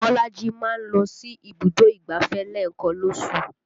Bolaji máa ń lọ sí ibùdó ìgbáfẹ́ lẹ́ẹ̀kan lóṣù